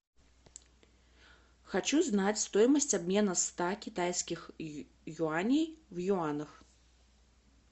хочу знать стоимость обмена ста китайских юаней в юанах